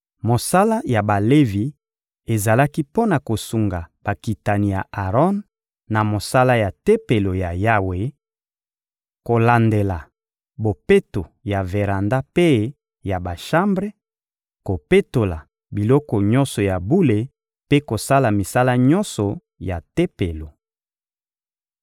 Mosala ya Balevi ezalaki mpo na kosunga bakitani ya Aron na mosala ya Tempelo ya Yawe: kolandela bopeto ya veranda mpe ya bashambre, kopetola biloko nyonso ya bule mpe kosala misala nyonso ya Tempelo.